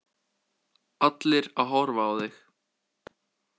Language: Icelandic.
Allir að horfa á þig.